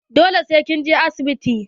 Dole sai kin je asibiti.